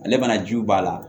Ale mana jiw b'a la